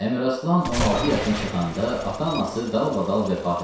Əmiraslan 16 yaşına çatanda ata-anası dalbadal vəfat elədi.